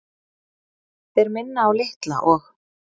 Þeir minna á Litla og